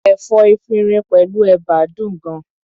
Ẹ̀fọ́ efinrin pẹ̀lú ẹ̀bà dùn gan-an.